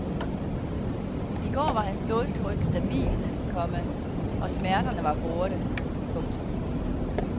I går var hans blodtryk stabilt, komma og smerterne var borte. punktum